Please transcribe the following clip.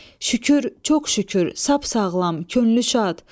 Şükür, çox şükür, sap sağlam, könlü şad.